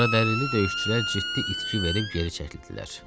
Qaradərili döyüşçülər ciddi itki verib geri çəkildilər.